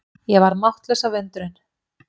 Ég varð máttlaus af undrun.